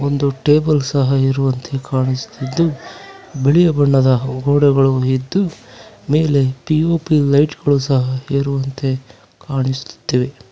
ಒಂದು ಟೇಬಲ್ ಸಹ ಇರುವಂತೆ ಕಾಣಿಸುತ್ತಿದ್ದು ಬಿಳಿಯ ಬಣ್ಣದ ಗೋಡೆಗಳು ಇದ್ದು ಮೇಲೆ ಪಿ_ಓ_ಪಿ ಲೈಟ್ ಗಳು ಸಹ ಇರುವಂತೆ ಕಾಣಿಸುತ್ತೆ.